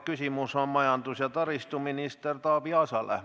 Küsimus on majandus- ja taristuminister Taavi Aasale.